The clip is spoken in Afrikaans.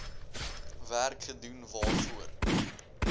werk gedoen waarvoor